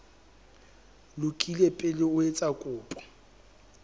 lokile pele o etsa kopo